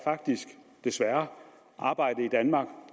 faktisk desværre er arbejde i danmark